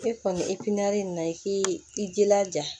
E kɔni in na i k'i jilaja